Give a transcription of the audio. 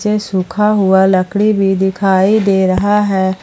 सुखा हुआ लकड़ी भी दिखाई दे रहा है।